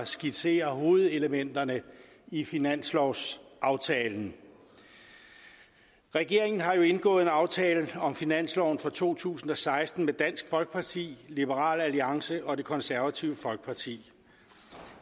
skitsere hovedelementerne i finanslovsaftalen regeringen har jo indgået en aftale om finansloven for to tusind og seksten med dansk folkeparti liberal alliance og det konservative folkeparti